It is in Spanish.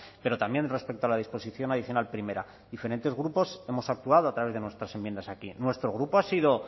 pero también respecto a la disposición adicional primera diferentes grupos hemos actuado a través de nuestras enmiendas aquí nuestro grupo ha sido